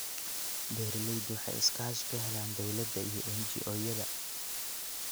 Beeraleydu waxay iskaashi ka helaan dawladda iyo NGO-yada.